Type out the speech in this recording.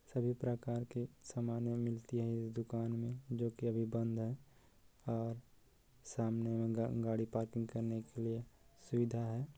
सभी प्रकार के सामन यहाँ मिलती है इस दुकान में जो की अभी बंद है और सामने गाड़ी पार्किंग करने के लिए सुविधा है।